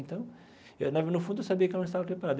Então eu na no fundo, eu sabia que eu não estava preparado.